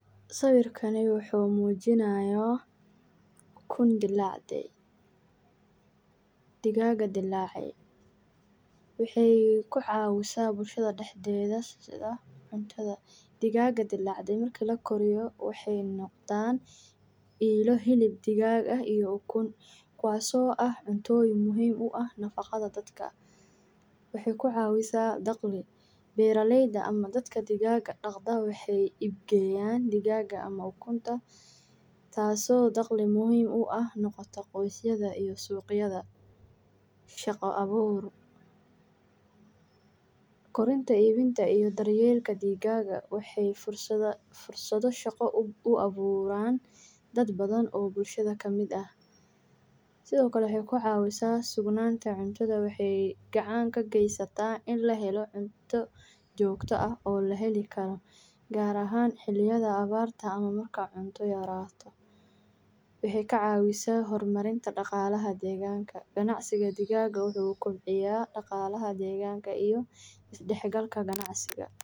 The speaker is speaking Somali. Waa mid ka mid ah dhaqanada ugu faa’iidada badan ee xoolaha nolosha qofka, waxaana loo isticmaalaa si loo gaaro soo saarinta ukunta, hilibka, iyo dhadhan loogu talagalay cuntada, taas oo keenta dakhli fiican gaar ahaan dadka reer miyiga ah ee ku tiirsan dhaqanada xoolaha, beeraha digaagadu waxay u baahan yihiin daaqsin fiican, biyo nadiif ah, iyo quud macquul ah oo ka kooban ukun, bur, iyo khudaarta si loo xaqiijiyo fayoobida iyo koritaanka si wanaagsan, sida caadiga ah waxay ku badan yihiin deegaano qaboobey oo leh cimilo kulul, halkaas oo ay ku noolaadaan si fiican, sidoo kale waxaa muhiim ah in lagu ilaaliyo cudurrada ku dhaca digaagga sida cudurukorka, fayraska, iyo xanuunada kale ee ku xadgudubka beeraha.